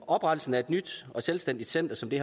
oprettelsen af et nyt og selvstændigt center som det